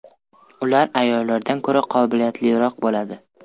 Ular ayollardan ko‘ra qobiliyatliroq bo‘ladi.